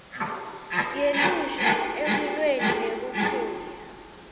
yelusha ekulweni nebuphuya